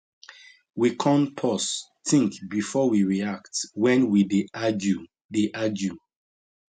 we con pause think before we react when we dey argue dey argue